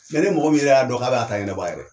Yan ni mɔgɔ min yɛrɛ y'a dɔn k'a b'a ta ɲɛnabɔ a yɛrɛ ye